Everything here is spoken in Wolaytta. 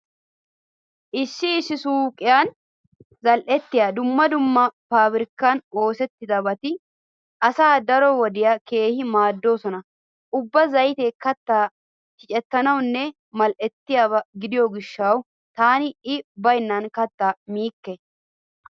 Issi issi suuqetun zal"ettiya dumma dumma paabirkkan oosettidabati asaa daro wode keehi maaddoosona. Ubba zaytee kattaa shicettiyanne mal"ettiyaba gidiyo gishshawu taani i baynna kattaa miikke.